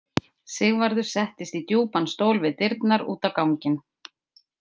Sigvarður settist í djúpan stól við dyrnar út á ganginn.